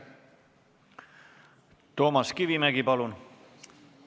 Toomas Kivimägi, palun!